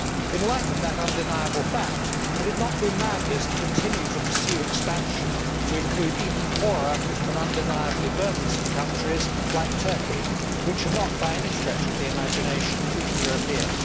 In light of that undeniable fact, would it not be madness to continue to pursue expansion to include even poorer, and undeniably burdensome, countries like Turkey which are not, by any stretch of the imagination, even European?